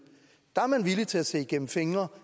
er man villig til at se igennem fingre